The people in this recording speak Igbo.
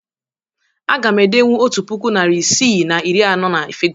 Aga m edenwu otu puku, narị isii na iri anọ na fịgọ.